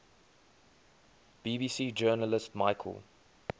bbc journalist michael